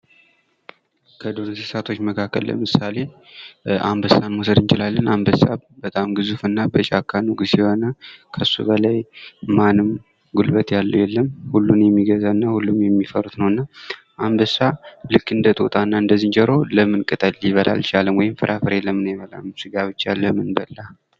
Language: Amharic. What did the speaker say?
ከዱር እንስሳቶች መካከል ለምሳሌ አንበሳን መውሰድ እንችላለን። አንበሳ በጣም ግዙፍና በጫካ ንግስ የሆነ ነው እና ከሱ በላይ ማንም ጉልበት ያለው የለም። ሁሉን የሚገዛ እና ሁሉም የሚፈሩት ነው እና አንበሳ ልክ እንደ ጦጣ እና እንደ ዝንጆሮ ለምን ቅጠል ሊበላ አልቻለም? ወይም ፍራፍሬ ለምን አይበላም? ስጋ ብቻ ለምን በላ?